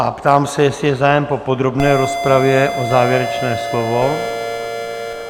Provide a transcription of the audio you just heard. A ptám se, jestli je zájem po podrobné rozpravě o závěrečné slovo?